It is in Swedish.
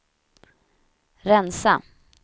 rensa